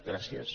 gràcies